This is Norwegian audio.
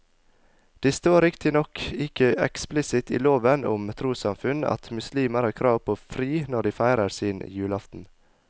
Det står riktignok ikke eksplisitt i loven om trossamfunn at muslimer har krav på fri når de feirer sin julaften.